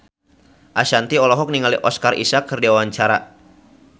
Ashanti olohok ningali Oscar Isaac keur diwawancara